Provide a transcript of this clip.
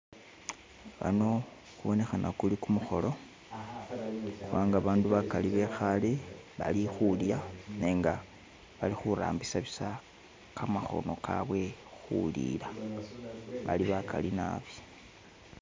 Ano kubonekhana kuli kumukholo kubanga abandu bakali bekhaale bali khulya, nenga bali khurambisa bisa kamakhono kabwe khulila bali bakaali naabi.